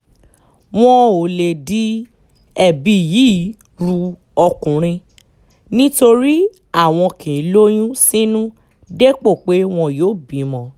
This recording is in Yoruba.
wọn ò lè di ẹbí yìí ru ọkùnrin nítorí àwọn kì í lóyún sínú dépò pé wọn yóò bímọ